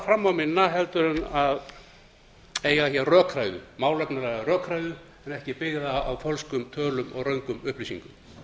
fram á minna heldur en eiga málefnalega rökræðu en ekki byggða á fölskum tölum og röngum upplýsingum